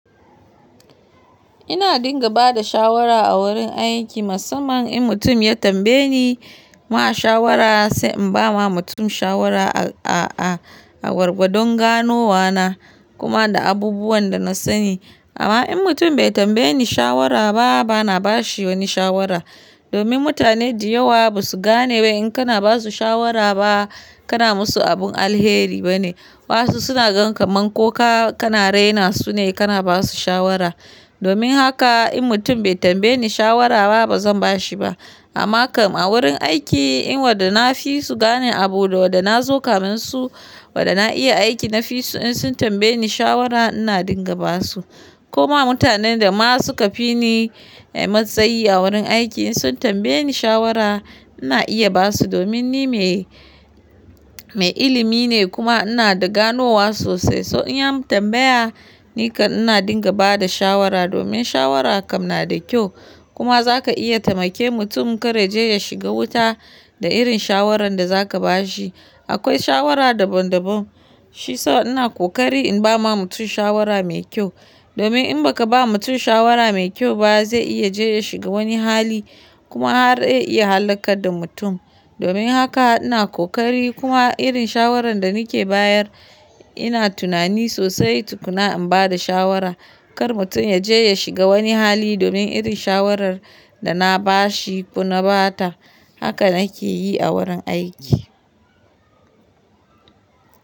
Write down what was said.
Ina dinga ba da shawara a gurin aiki musamman in mutum ya tambaye ni ma shawara, sai in ba wa mutum shawara a-a-a-a gwargwadon ganowa na kuma da abubuwan da na sani. Amma in mutum bai tambaye ni shawara ba, ba na ba shi wani shawara. Domin mutane da yawa ba su gane ba wai in kana ba su shawara ba kana musu abun alheri bane. Waƴansu suna gan kaman ko ka-kana raina su ne kana ba su shawara. Domin haka in mutum bai tambaye ni shawara ba, ba zan ba shi ba. Amma kam a wurin aiki in wanda nafi su gane abu da wanda na zo kafin su, wanda na iya aiki nafi su in sun tambaye ni shawara ina dinga ba su. Koma mutanen da ma su ka fi ni matsayi a wurin aiki in sun tambaye ni shawara ina iya ba su domin ni mai-mai ilimi ne kuma ina da ganowa sosai. To in an tambaya ni kam ina dinga ba da shawara domin shawara kam na da kyau. Kuma zaka iya taimake mutum kar ya je ya shiga wuta da irin shawarar da zaka ba shi. Akwai shawara daban daban. Shi yasa ina ƙoƙari in ba ma mutum shawara mai kyau. Domin in ba ka ba mutum shawara mai kyau ba zai iya je ya shiga wani hali kuma har ya iya hallakar da mutum. Domin haka ina kokari kuma irin shawarar da nake bayar ina tunani sosai tukuna in ba da shawara, kar mutum ya je ya shiga wani hali domin irin shawarar da na ba shi ko na ba ta. Haka nake yi a wurin aiki.